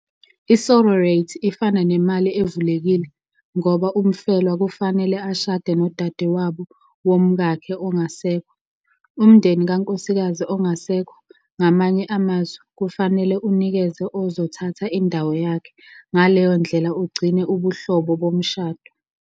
I-Sororate ifana nemali evulekile, ngoba umfelwa kufanele ashade nodadewabo womkakhe ongasekho. Umndeni kankosikazi ongasekho, ngamanye amazwi, kufanele unikeze ozothatha indawo yakhe, ngaleyo ndlela ugcine ubuhlobo bomshado.